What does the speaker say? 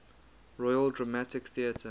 royal dramatic theatre